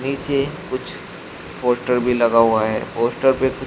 नीचे कुछ पोस्टर भी लगा हुआ है पोस्टर पे कुछ--